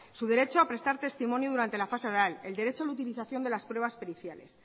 su derecho a prestar testimonio durante la fase oral el derecho a la utilización de las pruebas periciales